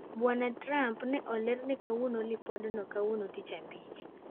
Bwana Trump ne olerne kuom lipod no kawuono tich abich.